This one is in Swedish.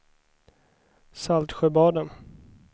Saltsjöbaden